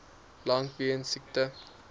lank weens siekte